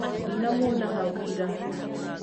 Ndinamuona hau ira